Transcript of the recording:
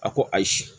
A ko ayi